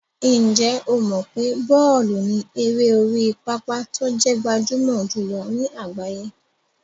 Ǹjẹ́ o mọ̀ pé bọ́ọ̀lù ni eré orí pápá tó jẹ́ gbajúmọ̀ jùlọ ní àgbáyé?